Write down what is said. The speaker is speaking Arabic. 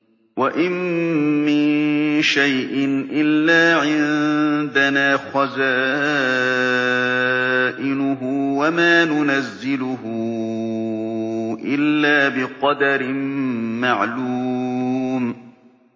وَإِن مِّن شَيْءٍ إِلَّا عِندَنَا خَزَائِنُهُ وَمَا نُنَزِّلُهُ إِلَّا بِقَدَرٍ مَّعْلُومٍ